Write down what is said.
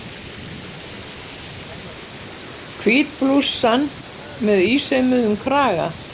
Hvít blússan með ísaumuðum kraga.